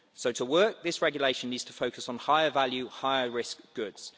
So to work, this regulation needs to focus on higher value, higher risk goods.